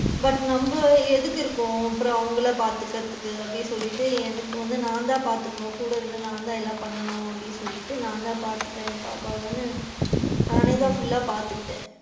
But நம்ம எதுக்கு இருக்கோம் அப்பறம் அவங்கள பாத்துக்குரதுக்கு அப்படின்னு சொல்லிட்டு எனக்கு வந்து நான் தான் பாத்துக்கணும் கூட இருந்து நான் தான் எல்லாம் பண்ணனும் அப்படின்னு சொல்லிட்டு நான் தான் பாத்துப்பேன் பாப்பாவன்னு நானே தான் full லா பாத்துக்கிட்டேன்.